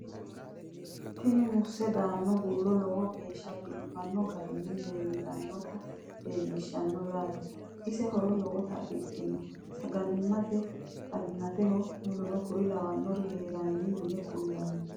Tinni muusse danna bulla lowo geeshsha biiffanno garinni leinnotti leelittanno yaatte. ise horo lowotte afidhinno sagalimmatte, xaginatteho wkl heeranna yinne kulanni